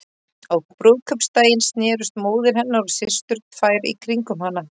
Á brúðkaupsdaginn snerust móðir hennar og systur tvær í kringum hana.